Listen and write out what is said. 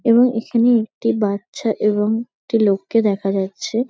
এবং এখানে একটি বাচ্ছা এবং একটি লোককে দেখা যাচ্ছে।